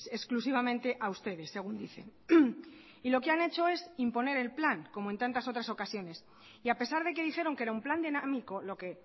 exclusivamente a ustedes según dicen y lo que han hecho es imponer el plan como en tantas otras ocasiones y a pesar de que dijeron que era un plan dinámico lo que